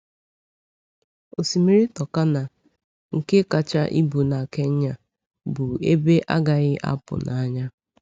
Osimiri Turkana, nke kacha ibu na Kenya, bụ ebe a gaghị apụ n’anya.